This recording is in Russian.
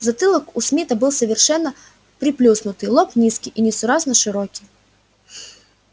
затылок у смита был совершенно приплюснутый лоб низкий и несуразно широкий